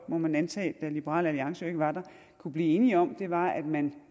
må man antage da liberal alliance jo ikke var der kunne blive enige om var at man